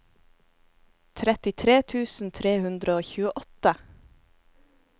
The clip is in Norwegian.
trettitre tusen tre hundre og tjueåtte